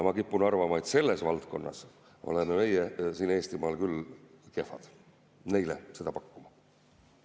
Ma kipun arvama, et selles valdkonnas oleme meie siin Eestimaal küll kehvad neile seda pakkuma.